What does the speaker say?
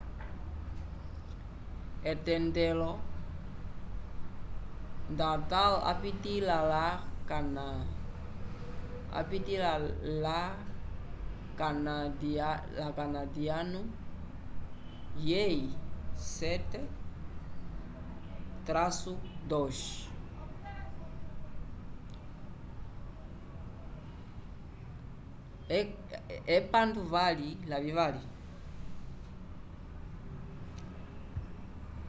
etendelo nadal apitĩla la kanadiyanu yeyi 7-2